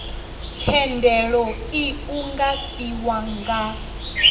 thendelo iu nga fhiwa nga